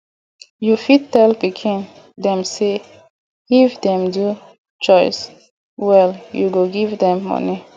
you fit tell pikin dem sey if dem do chores well you go give dem money